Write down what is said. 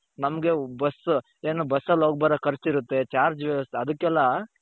ನಮ್ಗೆ bus ಏನು busಸಲ್ಲಿ ಹೋಗ್ಬರೋ ಖರ್ಚಿರುತ್ತೆ charge ಅದುಕೆಲ್ಲ .